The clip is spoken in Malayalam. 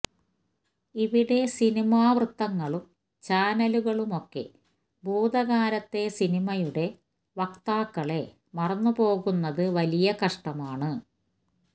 ഇവിടെ സിനിമാവൃത്തങ്ങളും ചാനലുകളുമൊക്കെ ഭൂതകാലത്തെ സിനിമയുടെ വക്താക്കളെ മറന്നുപോകുന്നത് വലിയ കഷ്ടമാണ്